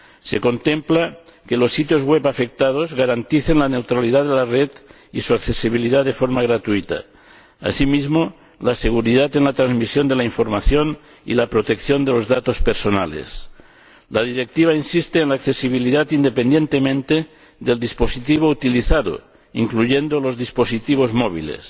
Se contempla que los sitios web afectados garanticen la neutralidad de la red y su accesibilidad de forma gratuita, así como la seguridad en la transmisión de la información y la protección de los datos personales. La Directiva insiste en la accesibilidad, independientemente del dispositivo utilizado, incluyendo los dispositivos móviles.